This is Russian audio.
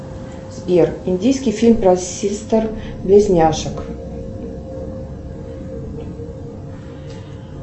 сбер индийский фильм про сестер близняшек